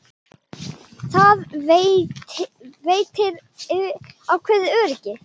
Það veitir ákveðið öryggi.